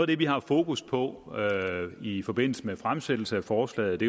det vi har haft fokus på i forbindelse med fremsættelsen af forslaget